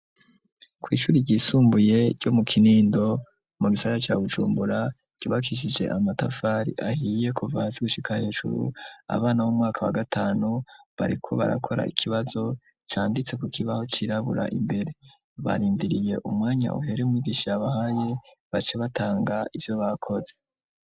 kw’ishuri ryisumbuye ryo mu kinindo mu gisagara ca bujumbura ryubakishije amatafari ahiye kuva hasi gushika hejuru ,abana b'umwaka wa gatanu bariko barakora ikibazo canditse ku kibaho cirabura imbere ,barindiriye umwanya uhere mwigisha yabahaye bace batanga ivyo bakoze.